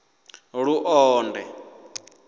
luonde